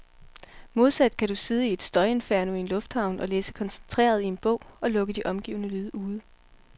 Modsat kan du sidde i et støjinferno i en lufthavn og læse koncentreret i en bog, og lukke de omgivende lyde ude.